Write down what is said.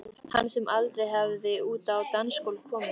Hann sem aldrei hafði út á dansgólf komið.